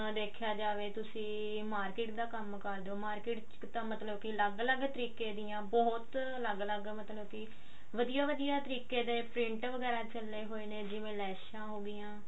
ਦੇਖਿਆ ਜਾਵੇ ਤੁਸੀਂ market ਦਾ ਕੰਮ ਕਰਦੇ ਹੋ market ਚ ਤਾਂ ਮਤਲਬ ਕਿ ਅਲੱਗ ਲੱਗ ਤਰੀਕੇ ਦੀਆਂ ਬਹੁਤ ਲੱਗ ਲੱਗ ਮੈਂ ਥੋਨੂੰ ਕੀ ਵਧੀਆ ਤਰੀਕੇ ਦੇ print ਵਗੇਰਾ ਚੱਲੇ ਹੋਏ ਨੇ ਜਿਵੇਂ ਲੇਸ਼ਾਂ ਹੋਗੀਆਂ